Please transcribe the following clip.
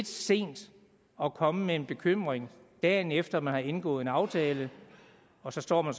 sent at komme med en bekymring dagen efter man har indgået en aftale og så står man